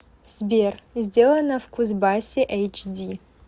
сбер сделано в кузбассе эйч ди